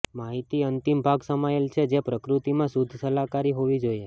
માહિતી અંતિમ ભાગ સમાયેલ છે જે પ્રકૃતિમાં શુદ્ધ સલાહકારી હોવી જોઈએ